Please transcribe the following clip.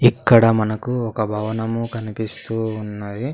ఇక్కడ మనకు ఒక భవనము కనిపిస్తూ ఉన్నది.